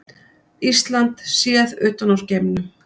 Ísland séð utan úr geimnum.